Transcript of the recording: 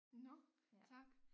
Nåh tak